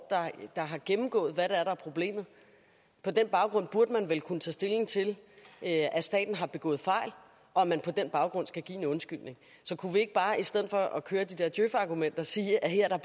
der har gennemgået hvad der er problemet på den baggrund burde man vel kunne tage stilling til at staten har begået fejl og at man på den baggrund skal give en undskyldning så kunne vi ikke bare i stedet for at køre de der djøfargumenter sige at her er